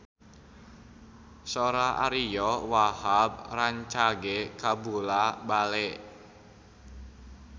Sora Ariyo Wahab rancage kabula-bale